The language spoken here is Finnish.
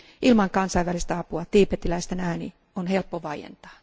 Ilman kansainvälistä apua tiibetiläisten ääni on helppo vaientaa.